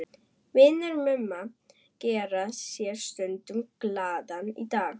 Vinir Mumma gera sér stundum glaðan dag í